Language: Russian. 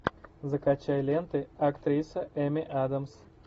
закачай ленты актриса эми адамс